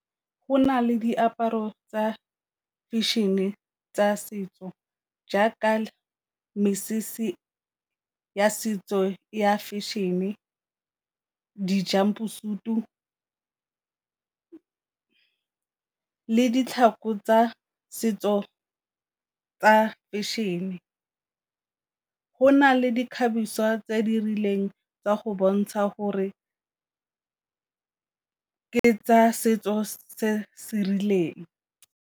Go na le diaparo tsa fashion-e tsa setso jaaka mesese ya setso ya fashion-e, le ditlhako tsa setso tsa fashion-e. Go na le di ikgabiswa tse di rileng tsa go bontsha gore ke tsa setso se se rileng.